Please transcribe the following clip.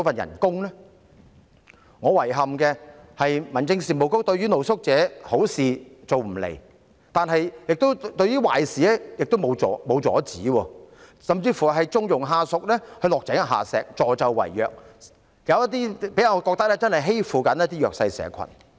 我感到遺憾的是，民政事務局對露宿者不但好事做不來，亦沒有阻止壞事發生，甚至縱容下屬落井下石，助紂為虐，有些個案給我的感覺就是他們欺負弱勢社群。